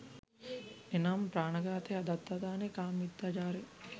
එනම්, ප්‍රාණ ඝාතය, අදත්තාදානය, කාම මිථ්‍යාචාරය